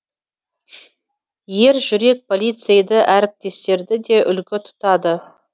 ержүрек полицейді әріптестері де үлгі тұтады